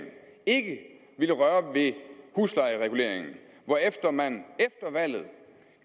ikke ville røre ved huslejereguleringen hvorefter man efter valget